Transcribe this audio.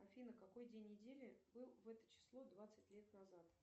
афина какой день недели был в это число двадцать лет назад